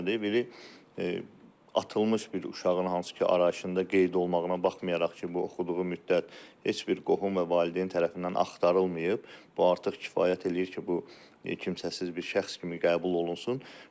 Biri atılmış bir uşağın hansı ki, arayışında qeyd olmağına baxmayaraq ki, bu oxuduğu müddət heç bir qohum və valideyn tərəfindən axtarılmayıb, bu artıq kifayət eləyir ki, bu kimsəsiz bir şəxs kimi qəbul olunsun.